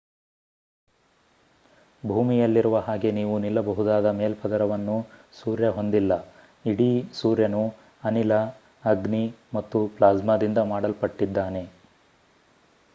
ಭೂಮಿಯಲ್ಲಿರುವ ಹಾಗೆ ನೀವು ನಿಲ್ಲಬಹುದಾದ ಮೇಲ್ಪದರವನ್ನು ಸೂರ್ಯ ಹೊಂದಿಲ್ಲ ಇಡೀ ಸೂರ್ಯನು ಅನಿಲ ಅಗ್ನಿ ಮತ್ತು ಪ್ಲಾಸ್ಮಾದಿಂದ ಮಾಡಲ್ಪಟ್ಟಿದ್ದಾನೆ